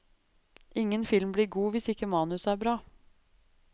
Ingen film blir god hvis ikke manuset er bra.